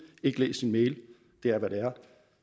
ikke læst sin mail det er hvad det er